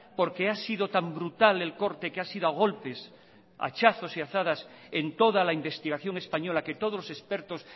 porque ha sido tan brutal el corte que ha sido a golpes a hachazos y azadas en toda la investigación española que todos los expertos